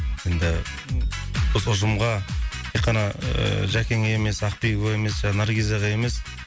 енді осы ұжымға тек қана ыыы жәкеңе емес ақбибіге емес наргизаға емес